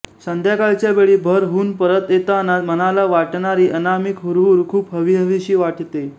संध्याकाळच्या वेळी भर हून परत येताना मनाला वाटणारी अनामिक हुरहुर खूप हवीहवीशी वाटते